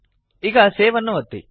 ಈಗ ಸೇವ್ ಅನ್ನು ಒತ್ತಿ